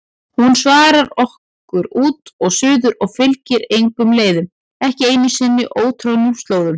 Hún svarar okkur út og suður og fylgir engum leiðum, ekki einu sinni ótroðnustu slóðum.